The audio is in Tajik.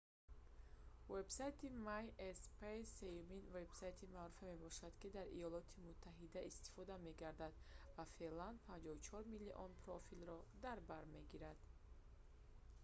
вебсайти myspace сеюмин вебсайти маъруфе мебошад ки дар иёлоти муттаҳида истифода мегардад ва феълан 54 миллион профилро дар бар мегирад